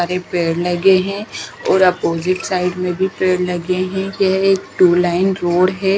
सारे पेड़ लगे हैं और अपोजिट साइड में भी पेड़ लगे हैं यह एक टू लाइन रोड है।